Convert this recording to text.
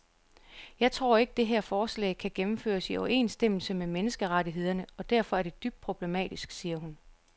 Jeg tror ikke, det her forslag kan gennemføres i overensstemmelse med menneskerettighederne og derfor er det dybt problematisk, siger hun.